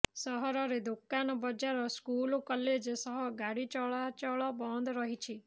ସହରରେ ଦୋକାନ ବଜାର ସ୍କୁଲ କଲେଜ ସହ ଗାଡି ଚଳାଚଳ ବନ୍ଦ ରହିଛି